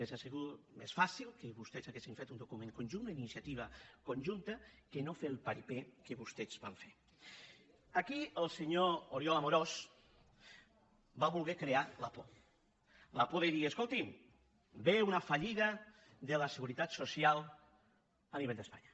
hauria sigut més fàcil que vostès haguessin fet un document conjunt una inicia tiva conjunta que no fer el paripéaquí el senyor oriol amorós va voler crear la por la por de dir escolti’m ve una fallida de la seguretat social a nivell d’espanya